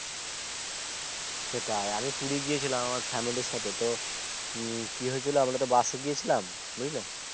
সেটাই আরে পুরি গিয়েছিলাম Family র সাথে তো উম কি হয়েছিলো আমরা তো busএ গিয়েছিলাম বুঝলে